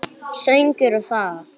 Söngur og saga.